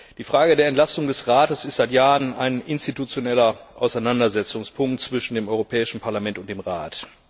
Die Frage der Entlastung des Rates ist seit Jahren ein institutioneller Auseinandersetzungspunkt zwischen dem Europäischen Parlament und dem Rat.